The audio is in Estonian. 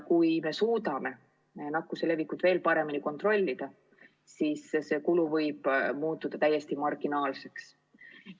Kui me suudame nakkuse levikut veel paremini kontrollida, siis võib see kulu muutuda täiesti marginaalseks.